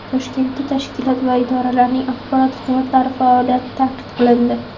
Toshkentda tashkilot va idoralarning axborot xizmatlari faoliyati tanqid qilindi.